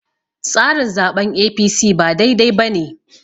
tsarin zaɓen A.p.c ba dai dai ba ne